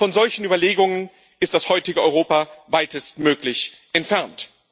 Von solchen Überlegungen ist das heutige Europa weitestmöglich entfernt.